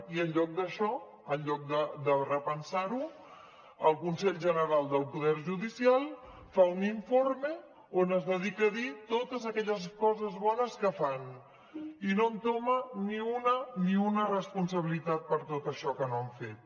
i en lloc d’això en lloc de repensar ho el consell general del poder judicial fa un informe on es dedica a dir totes aquelles coses bones que fan i no entoma ni una ni una responsabilitat per tot això que no han fet